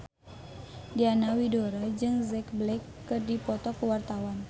Diana Widoera jeung Jack Black keur dipoto ku wartawan